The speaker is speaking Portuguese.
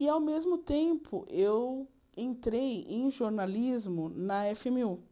E, ao mesmo tempo, eu entrei em jornalismo na éfe ême ú.